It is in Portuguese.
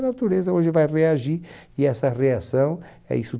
a natureza hoje vai reagir e essa reação é isso